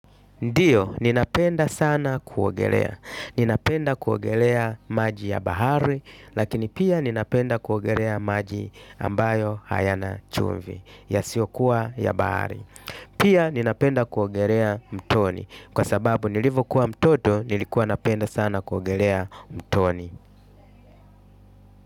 Ndio ninapenda sana kuogelea ninapenda kuogelea maji ya bahari, lakini pia ninapenda kuogelea maji ambayo hayana chumvi, ya siokuwa ya bahari. Pia ninapenda kuogelea mtoni kwa sababu nilipokua mtoto nilikua napenda sana kuogelea mtoni.